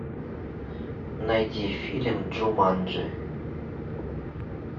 найди фильм джуманджи